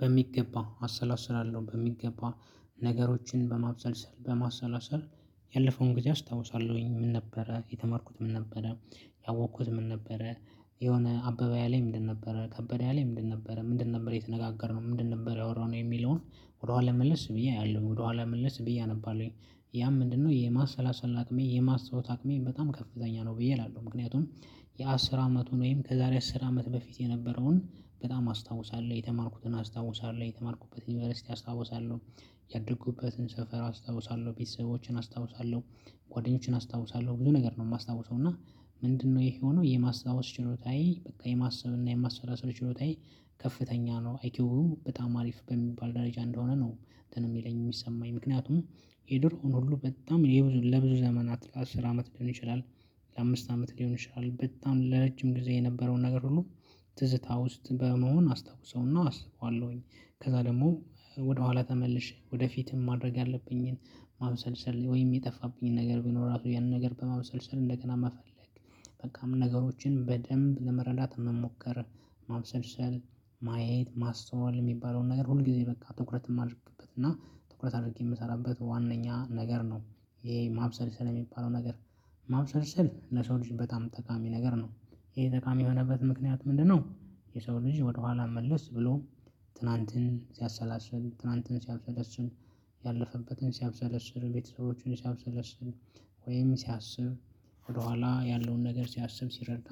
በሚገባ አሰላስላለሁ በሚገባ ነገሮችን በማብሰልሰል በማሰላሰል ያለፈውን ጊዜ አስታውሳለሁኝ። ምን ነበረ የተማርኩት ምን ነበረ ያወቅኩት ምን ነበረ? የሆነ አበበ ያለኝ ምንድን ነበረ ከበደ ያለኝ ምንድን ነበረ ምንድን ነበር የተነጋገርነው ምንድን ነበር ያወራነው ነው የሚለውን። ወደኋላ መልስ ብዬ አያለሁኝ ወደ ኋላ መልስ ብዬ አነባለሁኝ። ያም ምንድነው የማሰላሰል አቅሜ የማስታወስ አቅሜ በጣም ከፍተኛ ነው ብዬ እላለሁ። ምክንያቱም የአስር አመቱን ወይም ከዛሬ አስር አመት በፊት የነበረውን በጣም አስታውሳለሁ የተማርኩትን አስታውሳለሁ የተማርኩበትን ዩኒቨርሲቲ አስታውሳለሁ። ያደጉበትን ሰፈር አስታውሳለሁ ቤተሰቦቼን አስታውሳለሁ። ጓደኞቼን አስታውሳለሁ ብዙ ነገር ነው የማስታውሰው። እና ምንድነው ይሄ የሆነው የማስታወስ ችሎታዬ በቃ የማሰብ እና የማሰላሰል ችሎታዬ? ከፍተኛ ነው አይኪው በጣም አሪፍ በሚባል ደረጃ እንደሆነ ነው እንትን የሚለኝ የሚሰማኝ ምክንያቱም። የድሮውን ሁሉ በጣም ለብዙ ዘመናት ለአስር አመት ሊሆን ይችላል። ለአምስት አመት ሊሆን ይችላል በጣም ለረጅም ጊዜ የነበረውን ነገር ሁሉ። ትዝታ ውስጥ በመሆን አስታውሰውና አስበዋለሁኝ። ከዛ ደግሞ ወደኋላ ተመልሼ ወደፊትም ማድረግ ያለብኝን ማምሰልሰል ወይም የጠፋብኝን ነገር ቢኖር ራሱ ያንን ነገር በመመሰልሰል እንደገና መፈለግ። በቃም ነገሮችን በደንብ ለመረዳት መሞከር። ማብሰልሰል ማየት ማስተዋል የሚባለውን ነገር ሁል ጊዜ በቃ ትኩረት የማደርግበት እና ትኩረት አድርጌ የምሰራበት ዋናኛ ነገር ነው። ይሄ ማብሰልሰል የሚባለው ነገር። ማብሰልሰል ለሰው ልጅ በጣም ጠቃሚ ነገር ነው። ይሄ ጠቃሚ የሆነበት ምክንያት ምንድነው? የሰው ልጅ ወደኋላ መልስ ብሎ ትናንትን ሲያሰላስል ትናንትን ሲያብሰለስል ያለፈበትን ሲያብሰለስል ቤተሰቦቹን ሲያብሰለስል ወይም ሲያስብ ወደ ኋላ ያለውን ነገር ሲያስብ ሲረዳ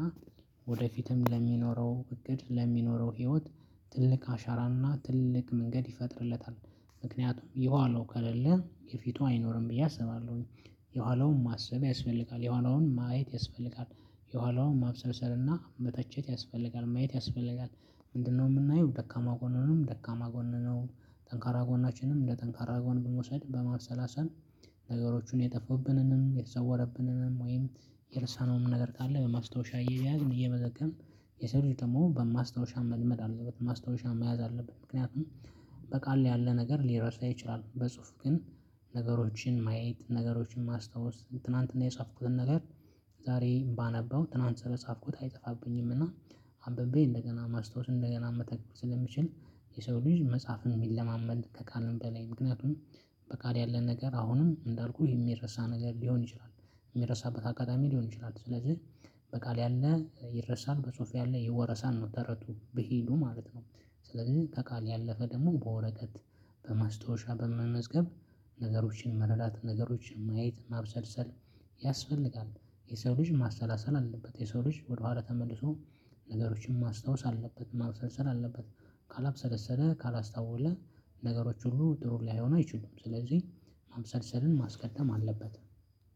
ወደፊትም ለሚኖረው እቅድ ለሚኖረው ህይወት ትልቅ አሻራና ትልቅ መንገድ ይፈጥርለታል። ምክንያቱም የኋለው ከሌለ የፊቱ አይኖርም ብዬ አሰባለሁኝ። የኋላውን ማሰብ ያስፈልጋል የኋላውን ማየት ያስፈልጋል። የኋላውን ማብሰልሰልና መተቸት ያስፈልጋል ማየት ያስፈልጋል። ምንድነው የምናየው ደካማ ጎንንም ደካማ ጎንንም ጠንካራ ጎናችንንም እንደ ጠንካራ ጎን ብንውሰድ በማሰላሰል? ነገሮቹን የጠፋብንንም የተሰወረብንንም ወይም የረሳነውም ነገር ካለ በማስታወሻ እየያዝን እየመዘገብን። የሰው ልጅ ደግሞ በማስታወሻ መልመድ አለበት ማስታወሻ መያዝ አለበት ምክንያቱም። በቃል ላይ ያለ ነገር ሊረሳ ይችላል። በጽሁፍ ግን ነገሮችን ማየት ነገሮችን ማስታወስ ትናንትና የጻፍኩትን ነገር ዛሬ ባነበው ትናንት ስለፃፍኩት አይጠፋብኝምና። አንብቤ እንደገና ማስታወስ እንደገና መተግበር ስለምችል። የሰው ልጅ መፃፍን ቢለማመድ ከቃልም በላይ ምክንያቱም። በቃል ያለ ነገር አሁንም እንዳልኩህ የሚረሳ ነገር ሊሆን ይችላል። የሚረሳበት አጋጣሚ ሊሆን ይችላል ስለዚህ። በቃል ያለ ይረሳል በጽሁፍ ያለ ይወረሳል ነው ተረቱ ብሂሉ ማለት ነው። ስለዚህ ከቃል ያለፈ ደግሞ በወረቀት በማስታወሻ በመመዝገብ ነገሮችን መረዳት ነገሮችን ማየት ማብሰልሰል። ያስፈልጋል የሰው ልጅ ማሰላሰል አለበት። የሰው ልጅ ወደኋላ ተመልሶ ነገሮችን ማስታወስ አለበት ማብሰልሰል አለበት። ካላብሰለሰለ ካላስተዋለ። ነገሮች ሁሉ ጥሩ ሊሆኑ አይችሉም ስለዚህ። ማምሰልሰልን ማስቀደም አለበት።